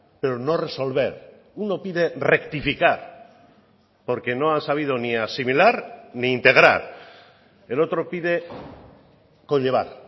pero no resolver uno pide rectificar porque no han sabido ni asimilar ni integrar el otro pide conllevar